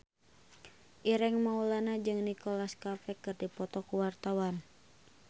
Ireng Maulana jeung Nicholas Cafe keur dipoto ku wartawan